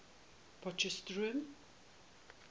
potchefstroom